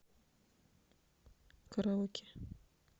караоке